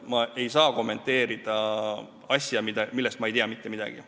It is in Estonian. Ma ei saa kommenteerida asja, millest ma ei tea mitte midagi.